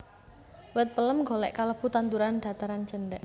Wit pelem golèk kalebu tanduran dhataran cendhèk